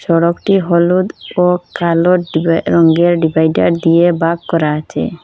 সড়কটি হলুদ ও কালো ডিভাই কালো রঙের ডিভাইডার দিয়ে ভাগ করা আছে।